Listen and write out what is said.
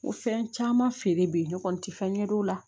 Ko fɛn caman feere bi kɔni n tɛ fɛn ɲɛdɔn o la